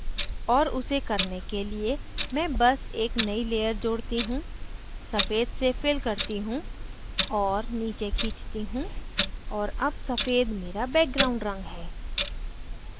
और उसे करने के लिए मैं बस एक नयी layer जोड़ती हूँ सफ़ेद से fill करती हूँ और नीचे खींचती हूँ और add सफ़ेद मेरा background रंग है